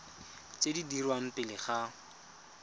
tse di dirwang pele ga